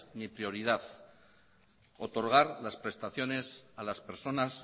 mi prioridad otorgar las prestaciones a las personas